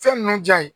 Fɛn ninnu ja ye